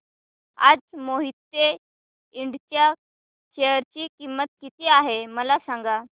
आज मोहिते इंड च्या शेअर ची किंमत किती आहे मला सांगा